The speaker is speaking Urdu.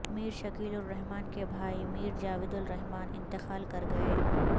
میر شکیل الرحمان کے بھائی میر جاوید الرحمان انتقال کرگئے